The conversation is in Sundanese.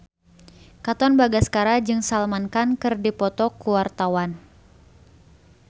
Katon Bagaskara jeung Salman Khan keur dipoto ku wartawan